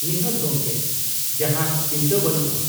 -ᱱᱤᱦᱟᱹᱛ ᱜᱚᱝᱠᱮ, ᱡᱟᱦᱟᱱ ᱪᱤᱱᱛᱟᱹ ᱵᱟᱹᱱᱩᱜᱼᱟ ᱾